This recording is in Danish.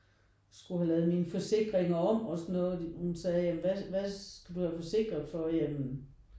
Skulle have lavet mine forsikringer om og sådan noget da hun sagde hvad hvad skal du have forsikret for? Ja men